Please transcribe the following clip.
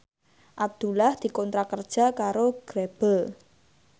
Abdullah dikontrak kerja karo Grebel